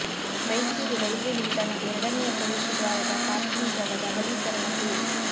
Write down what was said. Mysuru railway ನಿಲ್ದಾಣದ ಎರಡನೆಯ ಪ್ರವೇಶ ದ್ವಾರದ ಪಾರ್ಕಿಂಗ್ ಜಾಗದ ಅಗಲೀಕರಣ ರೂ